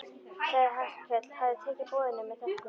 Sagðist Hallkell hafa tekið boðinu með þökkum.